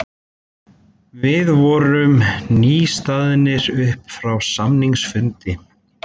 Við vorum nýstaðnir upp frá samningafundinum.